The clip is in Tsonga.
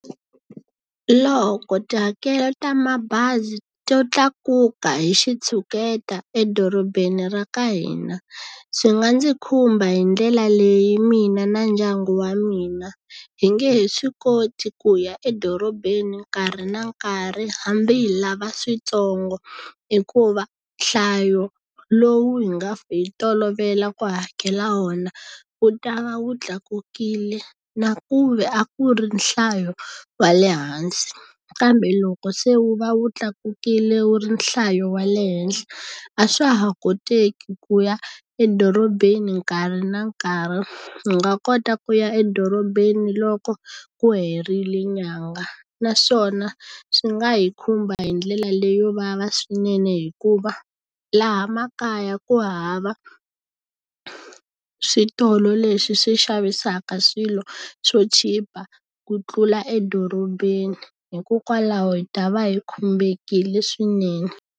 Loko tihakelo ta mabazi to tlakuka hi xitshuketa edorobeni ra ka hina, swi nga ndzi khumba hi ndlela leyi mina na ndyangu wa mina. Hi nge he swi koti ku ya edorobeni nkarhi na nkarhi hambi hi lava switsongo, hikuva nhlayo lowu hi nga hi tolovela ku hakela wona ku ta va wu tlakukile na ku ve a ku ri nhlayo wa le hansi. Kambe loko se wu va wu tlakukile wu ri nhlayo wa le henhla, a swa ha koteki ku ya edorobeni nkarhi na nkarhi. Hi nga kota ku ya edorobeni loko wu herile nyangha. Naswona swi nga hi khumba hi ndlela leyo vava swinene hikuva laha makaya ku hava switolo leswi swi xavisaka swilo swo chipa ku tlula edorobeni, hikokwalaho hi ta va hi khumbekile swinene.